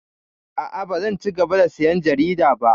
A'a, bazan cigaba da sayan jarida ba.